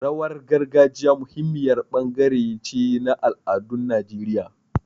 Rawar gargajiya muhimmiyar bangare ce na al'adun Najeriya.